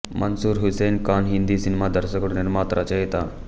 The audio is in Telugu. మన్సూర్ హుస్సేన్ ఖాన్ హిందీ సినిమా దర్శకుడు నిర్మాత రచయిత